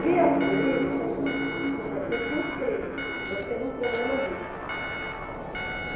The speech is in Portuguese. Que as famílias, assim ó, por exemplo, eu te inscrevo, você num programa desse.